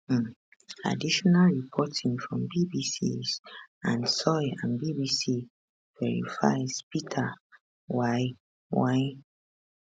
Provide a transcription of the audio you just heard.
um additional reporting from bbcs anne soy and bbc verifys peter mwai mwai